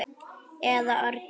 eða orgi.